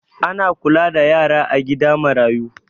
Ana kula da yara a gida marayu